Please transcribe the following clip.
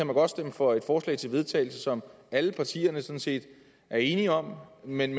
man godt stemme for et forslag til vedtagelse som alle partierne sådan set var enige om men